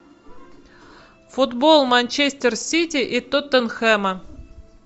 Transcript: футбол манчестер сити и тоттенхэма